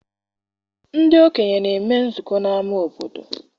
Ndị okenye na-eme nzukọ n'ama obodo.